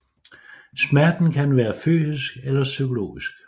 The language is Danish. Smerten kan være fysisk eller psykologisk